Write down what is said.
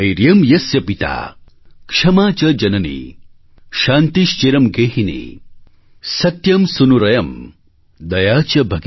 धैर्यं यस्य पिता क्षमा च जननी शान्तिश्चिरं गेहिनी